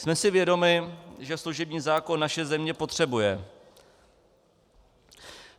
Jsme si vědomi, že služební zákon naše země potřebuje.